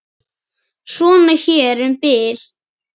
Svona hér um bil.